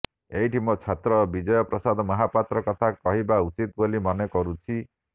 ଏଇଠି ମୋ ଛାତ୍ର ବିଜୟ ପ୍ରସାଦ ମହାପାତ୍ର କଥା କହିବା ଉଚିତ ବୋଲି ମନେ କରୁଛି